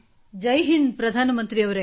ಜೈ ಹಿಂದ್ ಪ್ರಧಾನ ಮಂತ್ರಿಯವರೇ